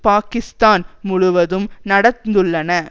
பாக்கிஸ்தான் முழுவதும் நடந்துள்ளன